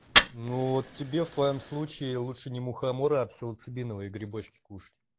ну вот тебе в твоём случае лучше не мухомора а псилоцибиновые грибочки кушать